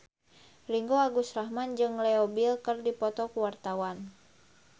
Ringgo Agus Rahman jeung Leo Bill keur dipoto ku wartawan